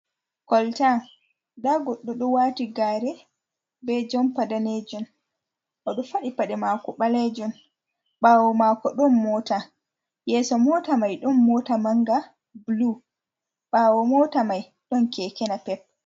koltan, da guddu du wati gare be jumpa danejun odo fadi Paɗe maako baleejum bawo maako ɗun moota yeso moota mai ɗun moota manga bulu ɓawo moota mai don keke napep.